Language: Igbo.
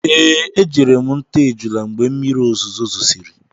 Ee, ejere m nta ejula mgbe mmiri ozuzo zosiri.